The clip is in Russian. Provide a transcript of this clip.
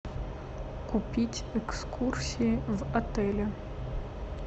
купить экскурсии в отеле